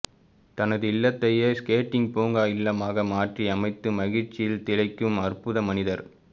தனது இல்லத்தையே ஸ்கேட்டிங் பூங்கா இல்லமாக மாற்றியமைத்து மகிழ்ச்சியில் திளைக்கும் அற்புத மனிதர்